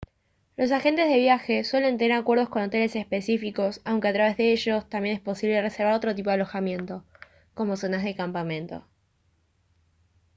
los agentes de viajes suelen tener acuerdos con hoteles específicos aunque a través de ellos también es posible reservar otro tipo de alojamiento como zonas de campamento